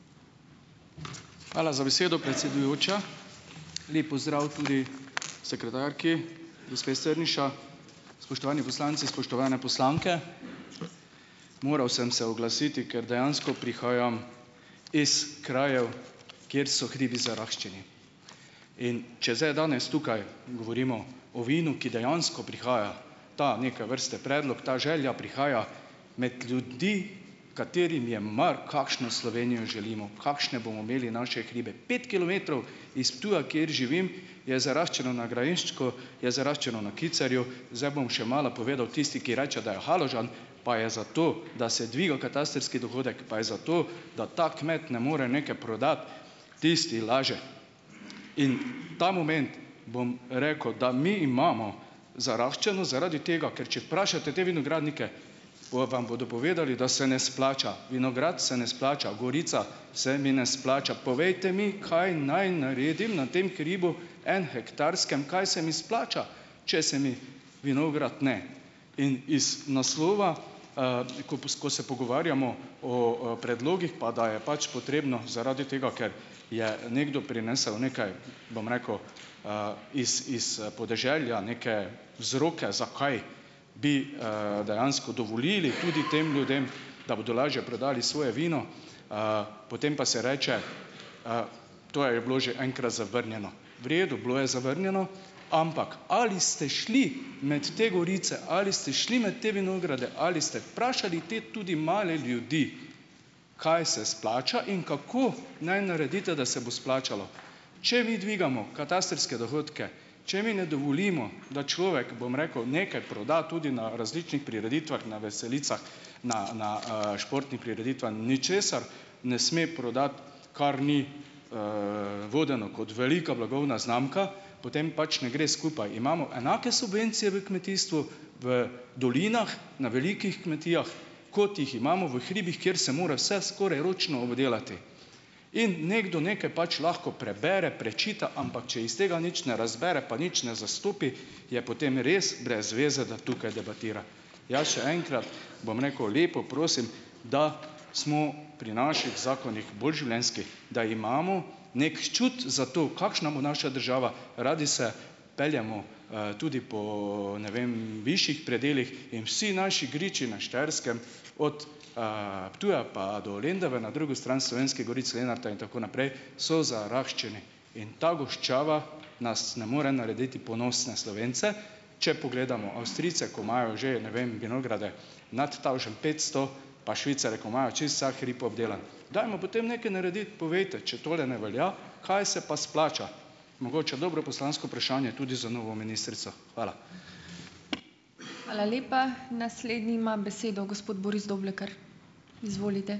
Hvala za besedo, predsedujoča. Lep pozdrav tudi sekretarki, gospe Strniša! Spoštovani poslanci, spoštovane poslanke! Moral sem se oglasiti, ker dejansko prihajam iz krajev, kjer so hribi zaraščeni, in če zdaj danes tukaj govorimo o vinu, ki dejansko prihaja ta neke vrste predlog, ta želja prihaja med ljudi, katerim je mar, kakšno Slovenijo želimo, kakšne bomo imeli naše hribe. Pet kilometrov iz Ptuja, kjer živim, je zaraščeno na Gradišču, je zaraščeno na Kicerju zdaj bom še malo povedal, tisti, ki reče, da je Haložan, pa je zato, da se dviga katastrski dohodek, pa je za to, da ta kmet ne more nekaj prodati, tisti laže. In ta moment, bom rekel, da mi imamo zaraščeno zaradi tega, ker če vprašate te vinogradnike, bojo vam bodo povedali, da se ne splača, vinograd se ne splača, gorica se mi ne splača. Povejte mi, kaj naj naredim na tem hribu enohektarskem, kaj se mi splača, če se mi vinograd ne? In iz naslova, ko ko se pogovarjamo o, predlogih pa, da je pač potrebno, zaradi tega, ker je nekdo prinesel nekaj, bom rekel, it iz, podeželja neke vzroke, zakaj bi, dejansko dovolili tudi tem ljudem, da bodo lažje prodali svoje vino, potem pa se reče: "To je bilo že enkrat zavrnjeno." V redu bilo je zavrnjeno, ampak ali ste šli med te gorice ali ste šli med te vinograde ali ste vprašali te tudi male ljudi, kaj se splača in kako naj naredite, da se bo splačalo? Če mi dvigamo katastrske dohodke, če mi ne dovolimo, da človek, bom rekel, nekaj proda tudi na različnih prireditvah, na veselicah, na na, športni prireditvah ničesar ne sme prodati, kar ni, vodeno kot velika blagovna znamka, potem pač ne gre skupaj. Imamo enake subvencije v kmetijstvu, v dolinah na velikih kmetijah, kot jih imamo v hribih, kjer se mora vse skoraj ročno obdelati, in nekdo nekaj pač lahko prebere, prečita, ampak če iz tega nič ne razbere pa nič ne zastopi, je potem res brez zveze, da tukaj debatira. Jaz še enkrat bom rekel, lepo prosim, da smo pri naših zakonih bolj življenjski, da imamo neki čut za to, kakšna bo naša država. Radi se peljemo, tudi po ne vem višjih predelih in vsi naši griči na Štajerskem, od, Ptuja pa do Lendave na drugo stran Slovenskih goric, Lenarta in tako naprej, so zaraščeni in ta goščava nas ne more narediti ponosne Slovence. Če pogledamo Avstrijce, ko imajo že ne vem vinograde nad tavžent petsto, pa Švicarje, ko imajo čisto vsak hrib obdelan, dajmo potem nekaj narediti, povejte, če tole ne velja, kaj se pa splača. Mogoče dobro poslansko vprašanje tudi za novo ministrico. Hvala.